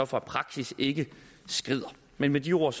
for at praksis ikke skrider med med de ord